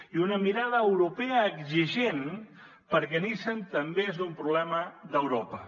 i una mirada europea exigent perquè nissan també és un problema d’europa